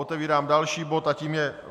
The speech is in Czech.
Otevírám další bod a tím je